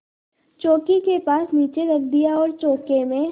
चौकी के पास नीचे रख दिया और चौके में